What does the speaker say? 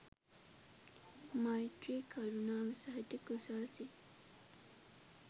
මෛත්‍රී කරුණාව සහිත කුසල් සිත්